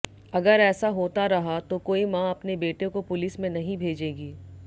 अगर ऐसा होता रहा तो कोई मां अपने बेटे को पुलिस में नहीं भेजेगी